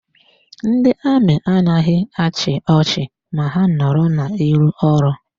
Ndị amị adịghị achị ọchị ma ha nọrọ n'iru ọrụ.